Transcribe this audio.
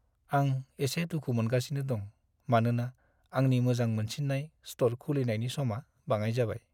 आं एसे दुखु मोनगासिनो दं मानोना आंनि मोजां मोनसिन्नाय स्ट'र खुलिनायनि समा बाङाइ जाबाय।